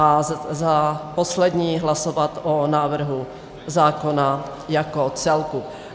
A jako poslední hlasovat o návrhu zákona jako celku.